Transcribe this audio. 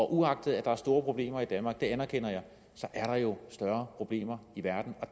uagtet at der er store problemer i danmark det erkender jeg er der jo større problemer i verden